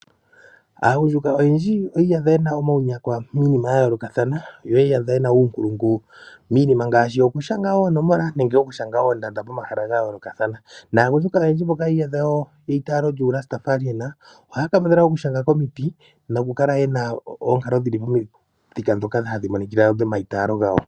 Aagundjuka oyendji oyi iyadha yena omawunyakwa miinima yayolokathana, yo oyi iyadha yena uunkulungu miinima ngaashi okushanga oonomola nenge okushanga oondanda pomahala gayoolokathana. Naagundjuka oyendji mboka yi iyadhawo yeitaalo lyuulasta faaliyena oha kambadhala oku shanga komiiti noku kala yena onkalo dhili momithika dhoka hadhi monikila dhoomayitalo gawo.